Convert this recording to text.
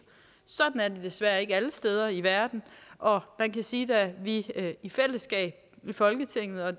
sådan er desværre ikke alle steder i verden og man kan sige at da vi i fællesskab i folketinget og